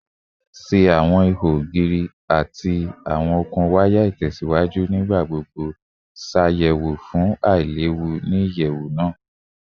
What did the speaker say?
Ṣe awọn iho ogiri ati awọn okun waya itẹsiwaju nigbagbogbo ṣayẹwo fun ailewu ni iyẹwu naa?